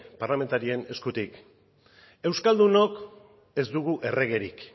parlamentarien eskutik euskaldunok ez dugu erregerik